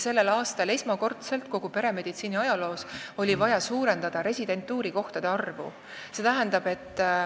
Sellel aastal oli esmakordselt kogu peremeditsiini ajaloos see vaja suurendada residentuuri kohtade arvu.